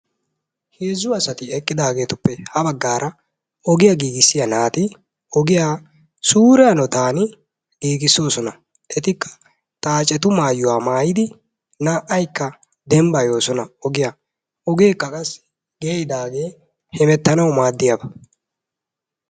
Heezzu asati eqqidaageetuppe ha baggaata ogiya giigissiya naati ogiya suure hanotan giigissoosona. Etikka xaacetu maayuwa maayidi naa"aykka dembbayosona ogiya. Ogeekka qassi geeyidaagee hemettanawu maaddiyaba.